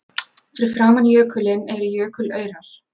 Fyrir framan jökulinn eru jökulaurar.